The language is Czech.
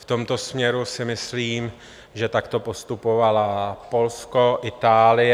V tomto směru si myslím, že takto postupovaly Polsko a Itálie.